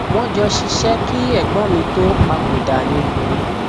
wọn jọ ṣiṣẹ kí ẹgbọn mi tóó papòdà ni